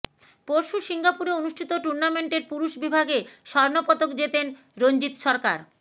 পরশু সিঙ্গাপুরে অনুষ্ঠিত টুর্নামেন্টের পুরুষ বিভাগে স্বর্ণপদক জেতেন রঞ্জিত সরকার